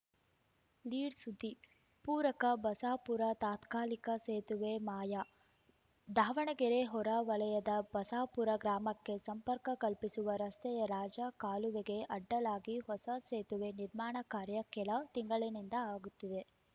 lead ಸುದ್ದಿ ಪೂರಕ ಬಸಾಪುರ ತಾತ್ಕಾಲಿಕ ಸೇತುವೆ ಮಾಯ ದಾವಣಗೆರೆ ಹೊರ ವಲಯದ ಬಸಾಪುರ ಗ್ರಾಮಕ್ಕೆ ಸಂಪರ್ಕ ಕಲ್ಪಿಸುವ ರಸ್ತೆಯ ರಾಜ ಕಾಲುವೆಗೆ ಅಡ್ಡಲಾಗಿ ಹೊಸ ಸೇತುವೆ ನಿರ್ಮಾಣ ಕಾರ್ಯ ಕೆಲ ತಿಂಗಳಿನಿಂದ ಆಗುತ್ತಿದೆ